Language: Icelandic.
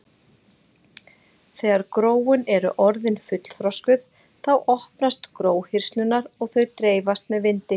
þegar gróin eru orðin fullþroskuð þá opnast gróhirslurnar og þau dreifast með vindi